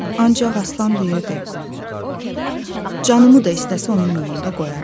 Ancaq Aslan deyirdi: Canımı da istəsə onun yolunda qoyaram.